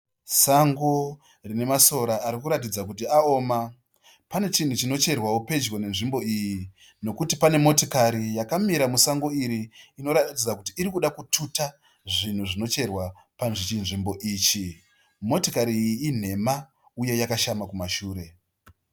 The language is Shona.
Sango rine masora arikuratidza kuti aoma. Pane chinhu chinocherwawo pedyo nenzvimbo iyi. Nokuti pane motikari yakamira musango iri inoratidza kuti irikuda kututa zvinhu zvinocherwa pachinzvimbo ichi. Motikar iyi inhema uye yakashama kumashure.